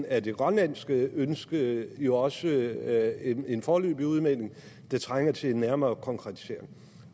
at det grønlandske ønske jo også er en en foreløbig udmelding der trænger til en nærmere konkretisering